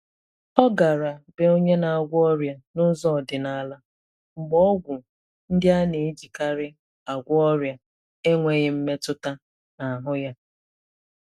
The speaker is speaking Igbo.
Ọ gara be onye na-agwọ ọrịa n'ụzọ ọdịnala mgbe ọgwụ ndị a na-ejikarị agwọ ọria enweghị mmetụta n’ahụ ya.